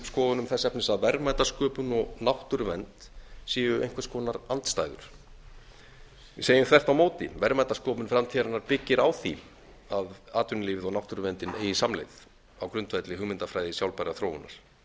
skoðunum þess efnis að verðmætasköpun og náttúruvernd séu einhvers konar andstæður við segjum þvert á móti verðmætasköpun framtíðarinnar byggir á því að atvinnulífið og náttúruverndin eigi samleið á grundvelli hugmyndafræði sjálfbærrar þróunar í